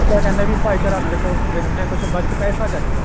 ਤਾਂ ਕਹਿੰਦੇ ਵੀ ਭਾਈਚਾਰਾ ਨੀ ਉਰੇ ਕੁੱਝ ਹੈਗਾ ਬੱਸ ਪੈਸਾ ਚਾਹੀਦਾ